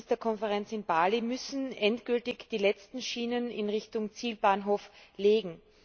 9. Ministerkonferenz in Bali müssen endgültig die letzten Schienen in Richtung Zielbahnhof legen.